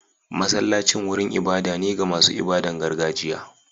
Masallacin wurin ibada ne ga masu ibadar gargajiya.